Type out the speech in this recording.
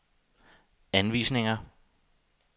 anvisninger